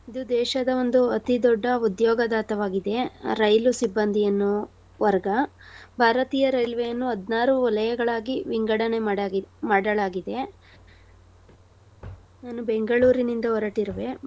ಇದು ದೇಶದ ಒಂದು ಅತಿ ದೊಡ್ಡ ಉದ್ಯೋಗದಾತವಾಗಿದೆ. ರೈಲು ಸಿಬಂಧಿಯನ್ನೋ ವರ್ಗ. ಭಾರತೀಯ ರೈಲ್ವೇ ಅನ್ನು ಹದ್ನಾರು ವಲಯಗಳಾಗಿ ವಿಂಗಡಣೆ ಮಾಡಾಗಿ~ ಮಾಡಳಾಗಿದೆ. ನಾನು ಬೆಂಗಳೂರಿನಿಂದ ಹೊರಟಿರುವೆ.